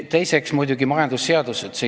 Teiseks muidugi majandusseadused.